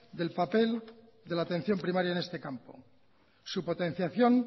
del papel de la atención primaria en este campo su potenciación